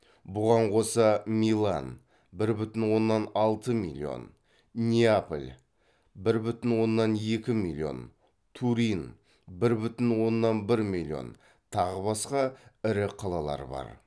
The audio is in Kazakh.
бұған қоса милан неаполь турин тағы басқа ірі қалалар бар